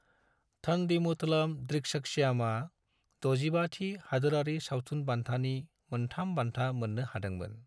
थंडीमुथलाम ड्रिक्सक्षियमआ 65थि हादोरारि सावथुन बान्थानि मोनथाम बान्था मोननो हादोंमोन।